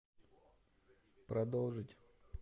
продолжить